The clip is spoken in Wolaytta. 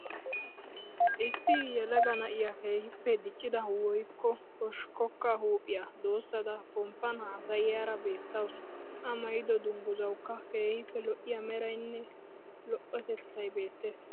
Issi yelaga na'iya keehippe diccida woyikko hoshshikkokka huuphiya doossada pomppan haasayiyaara beettawuus. A maayido dungguzawukka keehippe lo'iya merayinne lo'otettayi beettees.